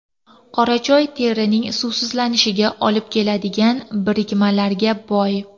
Qora choy terining suvsizlanishiga olib keladigan birikmalarga boy.